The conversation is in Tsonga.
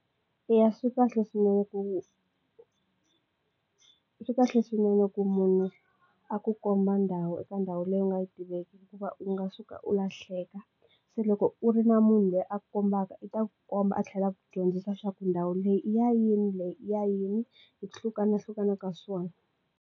Eya, swi kahle swinene ku swi kahle swinene ku munhu a ku komba ndhawu eka ndhawu leyi u nga yi tiveki hikuva u nga suka u lahleka se loko u ri na munhu loyi a kombaka i ta komba a tlhela a ku dyondzisa swaku ndhawu leyi i ya yini leyi i ya yini yi hlukana hlukana ka swona.